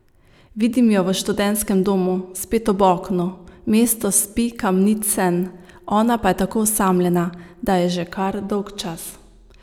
Vidim jo v študentskem domu, spet ob oknu, mesto spi kamnit sen, ona pa je tako osamljena, da je že kar dolgčas.